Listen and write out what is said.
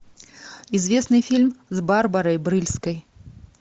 известный фильм с барбарой брыльской